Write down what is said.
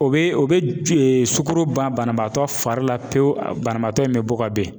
O be o be e sukɔro ban banabaatɔ fari la pewu banabaatɔ in be bɔka ben